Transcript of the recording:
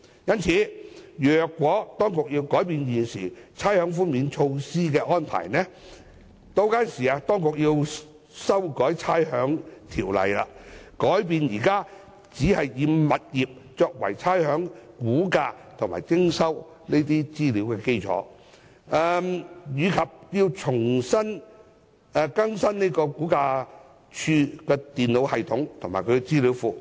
因此，如果當局要改變現時差餉寬免措施的安排，便需要修改《差餉條例》，改變現時只是以物業作為差餉估價及徵收資料的基礎，並要更新差餉物業估價署的電腦系統及資料庫。